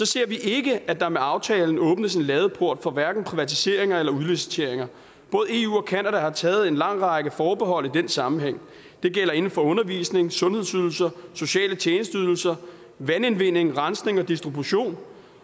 ser vi ikke at der med aftalen åbnes en ladeport for hverken privatiseringer eller udliciteringer både eu og canada har taget en lang række forbehold i den sammenhæng det gælder inden for undervisning sundhedsydelser sociale tjenesteydelser vandindvinding rensning og distribution